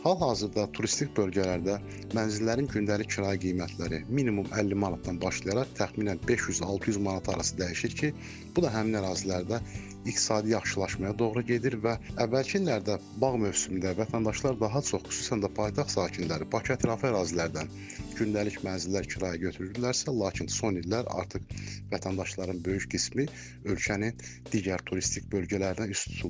Hal-hazırda turistik bölgələrdə mənzillərin gündəlik kirayə qiymətləri minimum 50 manatdan başlayaraq təxminən 500-600 manat arası dəyişir ki, bu da həmin ərazilərdə iqtisadi yaxşılaşmaya doğru gedir və əvvəlki illərdə bağ mövsümündə vətəndaşlar daha çox, xüsusən də paytaxt sakinləri Bakıətrafı ərazilərdən gündəlik mənzillər kirayə götürürdülərsə, lakin son illər artıq vətəndaşların böyük qismi ölkənin digər turistik bölgələrinə üz tuturlar.